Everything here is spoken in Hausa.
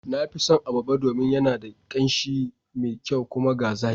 Na fi son Abarba domin yana da ƙanshi me kyau. kuma ga zaƙi